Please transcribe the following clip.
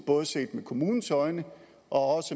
både set med kommunens øjne og